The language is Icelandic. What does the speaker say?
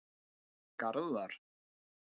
Garðar